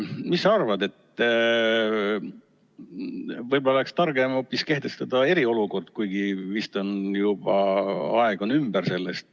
Mis sa arvad, võib-olla oleks targem hoopis kehtestada eriolukord, kuigi vist aeg selleks on juba ümber.